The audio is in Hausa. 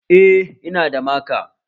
Eh, Ina da maka